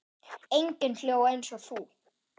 Enginn hló eins og þú.